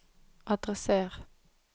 adresser